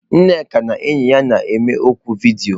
Nneka na enyi ya na-eme oku vidiyo.